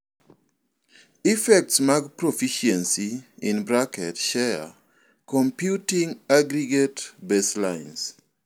Effects mag profficiency (share) computing aggregate baselines